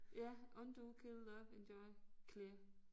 Ja undo kill love enjoy clear